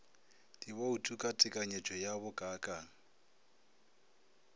dibouto ka tekanyetšo ya bokaakang